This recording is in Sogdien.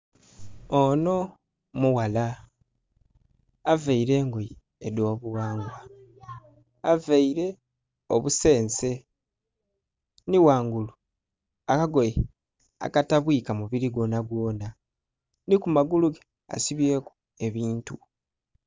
Onho mughala, availe engoye edh'obughangwa. Availe obusense, nhi ghangulu, akagoye akatabwika mubili gwonhagwonha. Nhi ku magulu ge asibyeku ebintu.